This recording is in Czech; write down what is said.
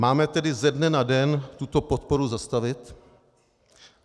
Máme tedy ze dne na den tuto podporu zastavit?